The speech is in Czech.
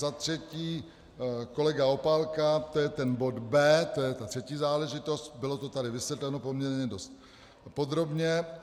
Za třetí, kolega Opálka, to je ten bod B, to je ta třetí záležitost, bylo to tady vysvětleno poměrně dost podrobně.